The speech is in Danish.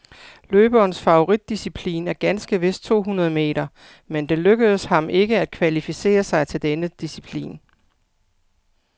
Løberens favoritdisciplin er ganske vist to hundrede meter, men det lykkedes ham ikke at kvalificere sig til denne disciplin.